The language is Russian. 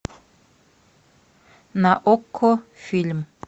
на окко фильм